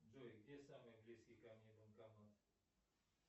джой где самый близкий ко мне банкомат